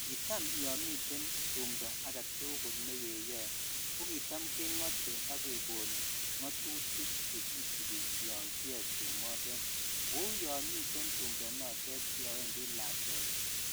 kiitam yoon miten tumndo agetugul negeyoee ko kiitam kengote ak kegoon ngotutik chegisibi yoon kiyooe tumoteet, kouu yoon miten tumdo noteet yoon wendi lakweet